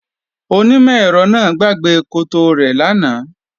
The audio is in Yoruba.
Onímọ̀-ẹ̀rọ náà gbàgbé koto rẹ̀ lánàá